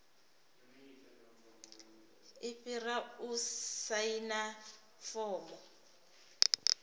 i fhira u saina fomo